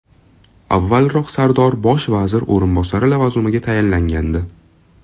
Avvalroq Sardor bosh vazir o‘rinbosari lavozimiga tayinlangandi .